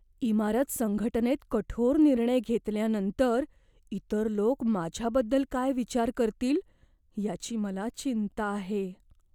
इमारत संघटनेत कठोर निर्णय घेतल्यानंतर इतर लोक माझ्याबद्दल काय विचार करतील याची मला चिंता आहे.